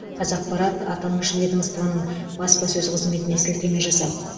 қазақпарат аталмыш ведомствоның басапсөз қызметіне сілтеме жасап